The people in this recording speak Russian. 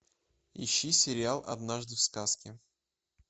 ищи сериал однажды в сказке